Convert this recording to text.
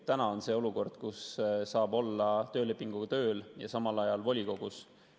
Täna on see olukord, kus saab olla töölepinguga tööl ja samal ajal volikogus.